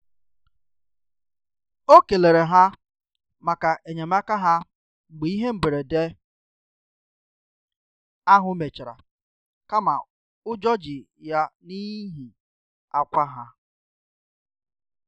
O kelere ha maka enyemaka ha mgbe ihe mberede ahụ mechara kama ụjọ ji ya n'ihi akwa ha